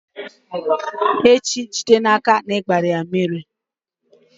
echi, jide n'aka na ị gbara ya mmiri!